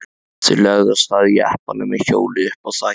Þeir lögðu af stað í jeppanum með hjólið uppá þaki.